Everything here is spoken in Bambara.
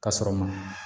K'a sɔrɔ ma